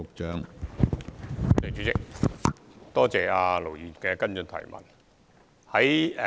主席，多謝盧議員的補充質詢。